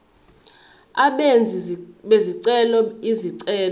abenzi bezicelo izicelo